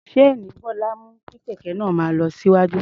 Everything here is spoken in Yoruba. Ṣéènì Bọ́lá mú kí kẹ̀kẹ́ náà máa lọ síwájú.